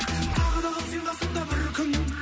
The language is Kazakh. тағы да қал сен қасымда бір күн